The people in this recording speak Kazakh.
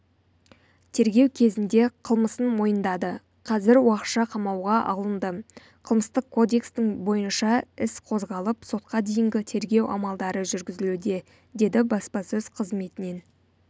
тергеу кезінде қылмысын мойындады қазір уақытша қамауға алынды қылмыстық кодекстің бойынша іс қозғалып сотқа дейінгі тергеу амалдары жүргізілуде деді баспасөз қызметінен